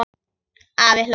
Afi hló.